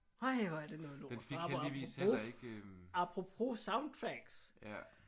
Øj hvor er det noget lort og apropos apropos soundtracks